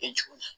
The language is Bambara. E jiginna